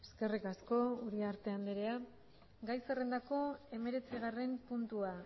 eskerrik asko uriarte andrea gai zerrendako hemeretzigarren puntua